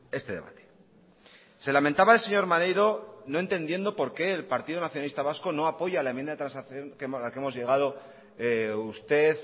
este debate se lamentaba el señor maneiro no entendiendo por qué el partido nacionalista vasco no apoya la enmienda de transacción a la que hemos llegado usted